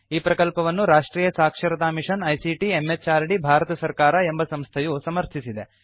ಈ ಪ್ರಕಲ್ಪವನ್ನು ರಾಷ್ಟ್ರಿಯ ಸಾಕ್ಷರತಾ ಮಿಷನ್ ಐಸಿಟಿ ಎಂಎಚಆರ್ಡಿ ಭಾರತ ಸರ್ಕಾರ ಎಂಬ ಸಂಸ್ಥೆಯು ಸಮರ್ಥಿಸಿದೆ